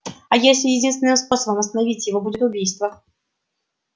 а если единственным способом остановить его будет убийство